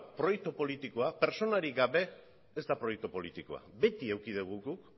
proiektu politikoa pertsonarik gabe ez da proiektu politikoa beti eduki dugu guk